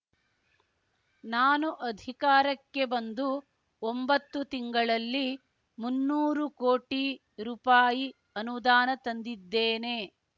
ನಾನು ಅಧಿಕಾರಕ್ಕೆ ಬಂದು ಒಂಬತ್ತು ತಿಂಗಳಲ್ಲಿ ಮುನ್ನೂರು ಕೋಟಿ ರೂಪಾಯಿ ಅನುದಾನ ತಂದಿದ್ದೇನೆ